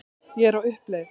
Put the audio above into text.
Ég er á uppleið.